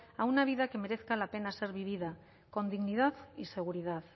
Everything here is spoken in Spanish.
a una vida que merezca la pena ser vivida con dignidad y seguridad